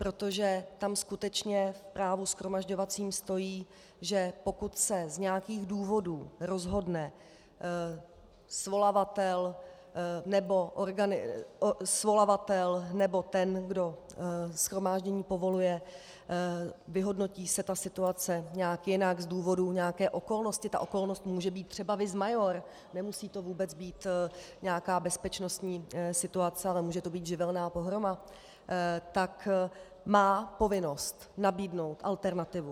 Protože tam skutečně v právu shromažďovacím stojí, že pokud se z nějakých důvodů rozhodne svolavatel nebo ten, kdo shromáždění povoluje, vyhodnotí se ta situace nějak jinak z důvodu nějaké okolnosti, ta okolnost může být třeba vis maior, nemusí to vůbec být nějaká bezpečnostní situace, ale může to být živelní pohroma, tak má povinnost nabídnout alternativu.